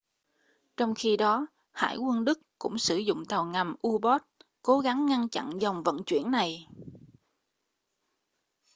trong khi đó hải quân đức cũng sử dụng tàu ngầm u-boat cố gắng ngăn chặn dòng vận chuyển này